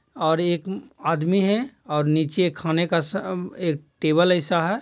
और एक आदमी हैं और नीचे एक खाने का सा-मम एक टेबल ऐसा हैं।